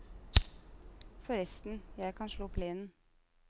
Forresten, jeg kan slå plenen.